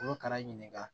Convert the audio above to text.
U bɛ ka na ɲininka